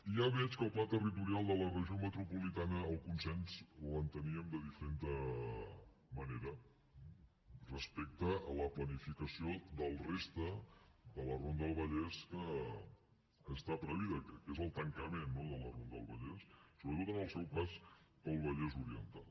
i ja veig que al pla territorial de la regió metropolitana el consens l’enteníem de diferent manera respecte a la planificació de la resta de la ronda del vallès que està prevista que és el tancament no de la ronda del vallès sobretot en el seu pas pel vallès oriental